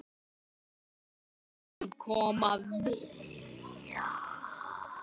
Komi þeir sem koma vilja.